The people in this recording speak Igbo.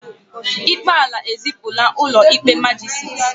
ikpe ala ezipụla ụlọ ikpe majisiti